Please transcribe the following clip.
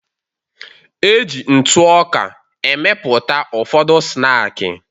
E ji ntụ ọka emepụta ụfọdụ snaakị.